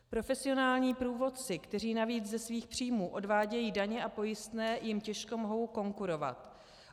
Profesionální průvodci, kteří navíc ze svých příjmů odvádějí daně a pojistné, jim těžko mohou konkurovat.